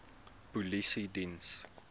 polisiediens